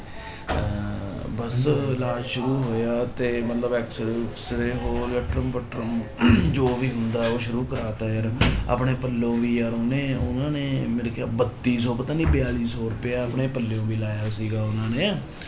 ਇਲਾਜ ਸ਼ੁਰੂ ਹੋਇਆ ਤੇ ਮਤਲਬ ਐਕਸਰੇ ਉਕਸਰੇ ਹੋਰ ਲਟਰਮ ਪਟਰਮ ਜੋ ਵੀ ਹੁੰਦਾ ਉਹ ਸ਼ੁਰੂ ਕਰਵਾ ਦਿੱਤਾ ਯਾਰ ਆਪਣੇ ਪੱਲੋਂ ਵੀ ਯਾਰ ਉਹਨੇ ਉਹਨਾਂ ਨੇ ਮਿਲ ਕੇ ਬੱਤੀ ਸੌ ਪਤਾ ਨੀ ਬਿਆਲੀ ਸੌ ਰੁਪਇਆ ਆਪਣੇ ਪੱਲਿਓਂ ਵੀ ਲਾਇਆ ਸੀਗਾ ਉਹਨਾਂ ਨੇ।